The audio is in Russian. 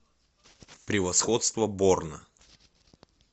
превосходство борна